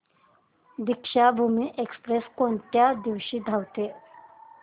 Deekshabhoomi express कोणत्या दिवशी धावते